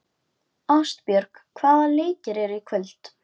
Ástbjörg, hvaða leikir eru í kvöld?